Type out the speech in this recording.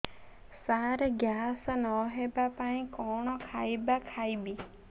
ସାର gas ନ ହେବା ପାଇଁ କଣ ଖାଇବା ଖାଇବି